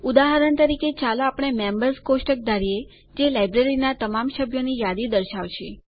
ઉદાહરણ તરીકે ચાલો આપણે મેમ્બર્સ કોષ્ટક ધારીએ જે લાઈબ્રેરીનાં તમામ સભ્યોની યાદી દર્શાવશે